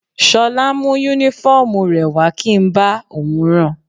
Ṣọlá mú Únífọ́ọ̀mù rẹ̀ wá kí n bá òun ran